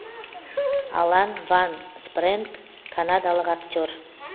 алан ван спрэнг канадалық актер